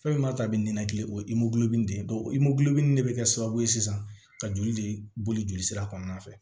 Fɛn ma ta bɛ ninakili o nin de ye nin de bɛ kɛ sababu ye sisan ka joli de boli jolisira kɔnɔna fɛ